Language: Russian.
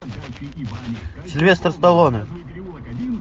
сильвестр сталлоне